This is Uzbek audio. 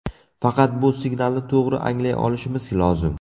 Faqat bu signalni to‘g‘ri anglay olishimiz lozim.